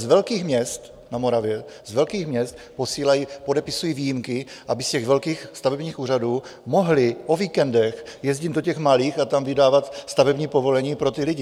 Z velkých měst na Moravě, u velkých měst, posílají, podepisují výjimky, aby z těch velkých stavebních úřadů mohli o víkendech jezdit do těch malých a tam vydávat stavební povolení pro ty lidi.